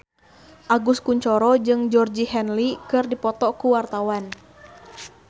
Agus Kuncoro jeung Georgie Henley keur dipoto ku wartawan